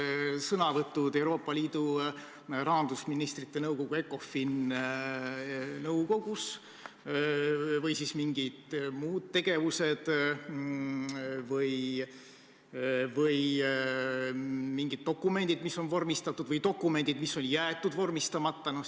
Kas sõnavõtud Euoopa Liidu rahandusministrite Ecofini nõukogus või siis mingid muud tegevused või mingid dokumendid, mis on vormistatud, või dokumendid, mis on jäetud vormistamata?